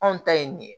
Anw ta ye nin ye